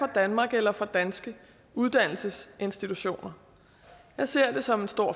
danmark eller for danske uddannelsesinstitutioner jeg ser det som en stor